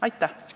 Aitäh!